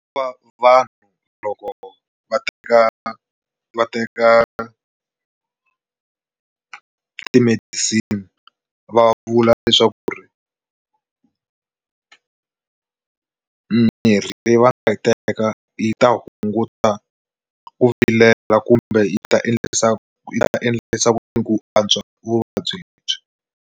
Va vanhu loko va teka va teka ti-medicine va vula leswaku ri mirhi leyi va yi teka yi ta hunguta ku vilela kumbe yi ta endlisa yi ta endlisa ku yini ku antswa vuvabyi lebyi.